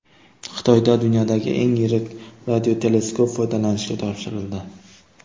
Xitoyda dunyodagi eng yirik radioteleskop foydalanishga topshirildi.